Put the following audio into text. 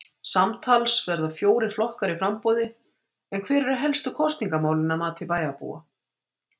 Samtals verða fjórir flokkar í framboði en hver eru helstu kosningamálin að mati bæjarbúa?